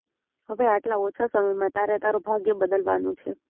હવે આટલા ઓછા સમયમાં તારે તારું ભાગ્ય બદલવાનું છે